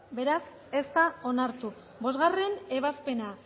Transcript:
beraz ez da onartu bostgarrena ebazpena